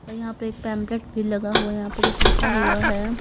और यहां पर एक पेंप्लेट भी लगा हुआ है यहां पर कुछ लिखा हुआ है।